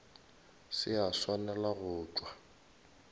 se a swanela go tšwa